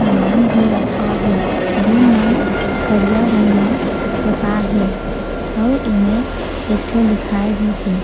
सामान भी रखाए हे जेन मन करिया रंग मे पोताए हे अउ ए मेंर एक ठो लिखाए भी हे।